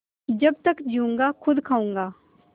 जब तक जीऊँगा खुद खाऊँगा